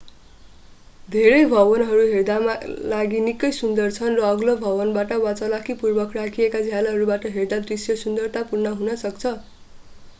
धेरै भवनहरू हेर्दामा लागि निकै सुन्दर छन् र अग्लो भवनबाट वा चलाखीपूर्वक राखिएका झ्यालहरूबाट हेर्दा दृश्य सुन्दरतापूर्ण हुन सक्छ